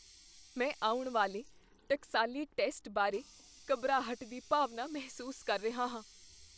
ਮੈਂ ਆਉਣ ਵਾਲੇ ਟਕਸਾਲੀ ਟੈਸਟ ਬਾਰੇ ਘਬਰਾਹਟ ਦੀ ਭਾਵਨਾ ਮਹਿਸੂਸ ਕਰ ਰਿਹਾ ਹਾਂ।